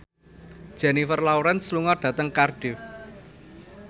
Jennifer Lawrence lunga dhateng Cardiff